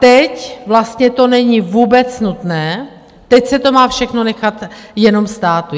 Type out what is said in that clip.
Teď vlastně to není vůbec nutné, teď se to má všechno nechat jenom státu.